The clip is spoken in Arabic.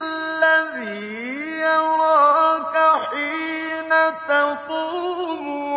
الَّذِي يَرَاكَ حِينَ تَقُومُ